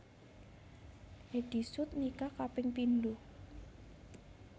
Eddy Sud nikah kaping pindho